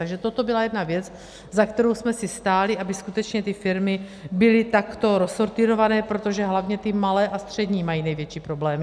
Takže toto byla jedna věc, za kterou jsme si stáli, aby skutečně ty firmy byly takto rozsortýrované, protože hlavně ty malé a střední mají největší problémy.